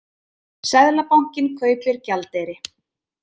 Seðlabankinn kaupir gjaldeyri